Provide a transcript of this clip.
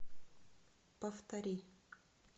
повтори